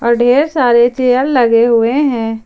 और ढेर सारे चेयर लगे हुए हैं।